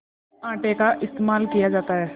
आटे का इस्तेमाल किया जाता है